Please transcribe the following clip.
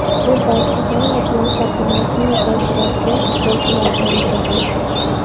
U ‘Barselona’ bilan shartnomasini uzaytiradigan futbolchilardan biri bo‘ladi.